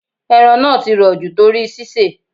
Ẹran náà ti rò jù torí sisè.